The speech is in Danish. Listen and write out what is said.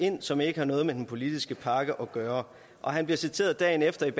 ind som ikke har noget med den politiske pakke at gøre han bliver citeret dagen efter